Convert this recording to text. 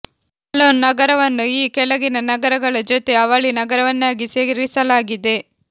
colon ನಗರವನ್ನು ಈ ಕೆಳಗಿನ ನಗರಗಳ ಜೋತೆ ಅವಳಿ ನಗರವನ್ನಾಗಿ ಸೇರಿಸಲಾಗಿದೆ